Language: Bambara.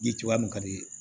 Ye cogoya mun ka di ye